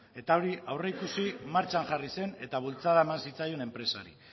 hori aurreikusi martxan jarri zen eta bultzada eman zitzaion enpresari